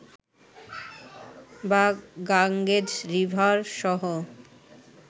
বা গাংগেজ রিভারসহ